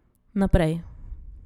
Naprej.